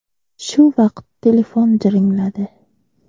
Shu vaqt telefon jiringladi.